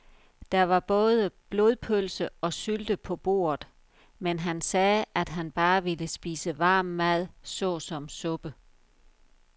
Der var både blodpølse og sylte på bordet, men han sagde, at han bare ville spise varm mad såsom suppe.